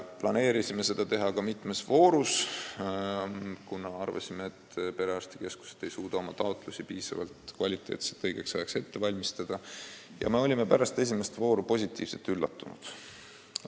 Plaanisime seda teha mitmes voorus, kuna arvasime, et perearstikeskused ei suuda oma taotlusi piisavalt kvaliteetselt õigeks ajaks ette valmistada, ja olime pärast esimest vooru positiivselt üllatunud.